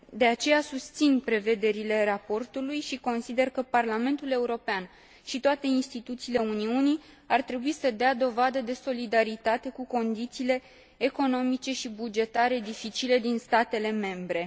De aceea, susțin prevederile raportului și consider că Parlamentul European și toate instituțiile Uniunii ar trebui să dea dovadă de solidaritate cu condițiile economice și bugetare dificile din statele membre.